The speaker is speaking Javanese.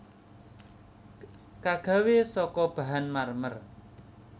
Kagawé saka bahan marmer